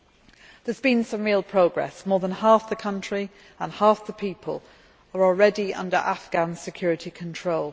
There has been some real progress more than half the country and half the people are already under Afghan security control.